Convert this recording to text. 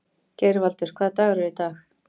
Geirvaldur, hvaða dagur er í dag?